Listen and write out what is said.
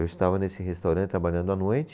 Eu estava nesse restaurante trabalhando à noite,